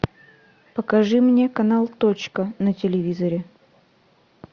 покажи мне канал точка на телевизоре